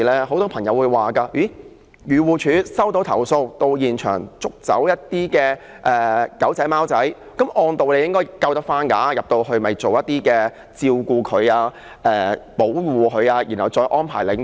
很多朋友會說，漁護署接到投訴，到現場捕捉小狗小貓後，按道理應該能夠救回那些動物，並送到動物管理中心照顧及保護，然後再安排領養。